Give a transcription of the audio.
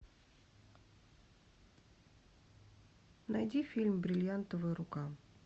найди фильм бриллиантовая рука